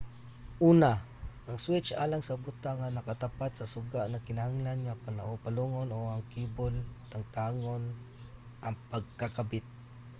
una ang switch alang sa butang nga nakatapot sa suga nagkinahanglan nga palungon o ang kable tangtangon ang pagkakabit